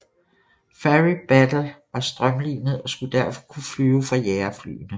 Fairey Battle var strømlinet og skulle derfor kunne flyve fra jagerflyene